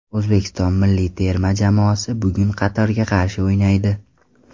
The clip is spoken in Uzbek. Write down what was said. O‘zbekiston milliy terma jamoasi bugun Qatarga qarshi o‘ynaydi.